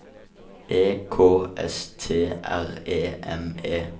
E K S T R E M E